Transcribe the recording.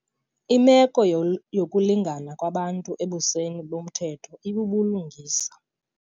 Imeko yokulingana kwabantu ebusweni bomthetho ibubulungisa.